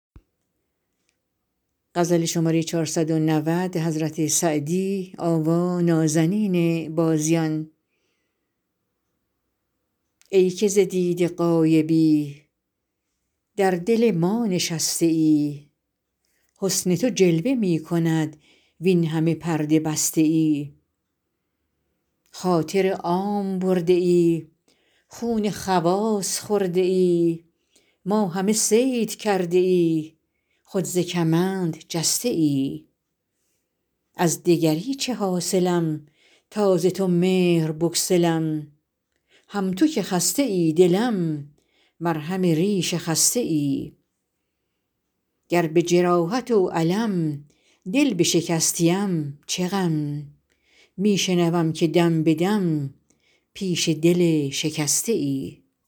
ای که ز دیده غایبی در دل ما نشسته ای حسن تو جلوه می کند وین همه پرده بسته ای خاطر عام برده ای خون خواص خورده ای ما همه صید کرده ای خود ز کمند جسته ای از دگری چه حاصلم تا ز تو مهر بگسلم هم تو که خسته ای دلم مرهم ریش خسته ای گر به جراحت و الم دل بشکستیم چه غم می شنوم که دم به دم پیش دل شکسته ای